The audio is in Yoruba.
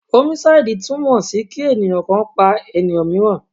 Homicide túmọ̀ sí kí ènìyàn kan pa ènìyàn míìràn.